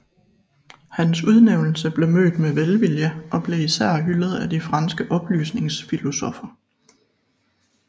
Hans udnævnelse blev mødt med velvilje og blev især hyldet af de franske oplysningsfilosoffer